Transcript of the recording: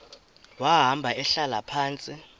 wahamba ehlala phantsi